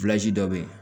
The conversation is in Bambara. dɔ be yen